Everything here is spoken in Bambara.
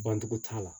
Bandugu t'a la